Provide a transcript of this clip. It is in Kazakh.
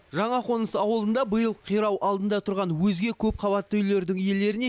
жаңақоныс ауылында биыл қирау алдында тұрған өзге көпқабатты үйлердің иелеріне